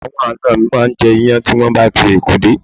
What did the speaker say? Àwọn ana mi máa jẹ iyán tí wọn bá ti Èkó dé